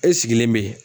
E sigilen bɛ